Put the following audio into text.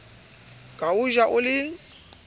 ka o ja o le